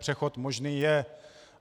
Přechod možný je.